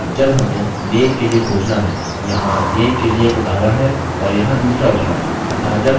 अब जब हमें name के लिए खोजना है– यहाँ name के लिए एक उदाहरण है और यहाँ दूसरा उदाहरण